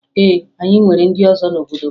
Ee, anyị nwere ndị ọzọ n'obodo m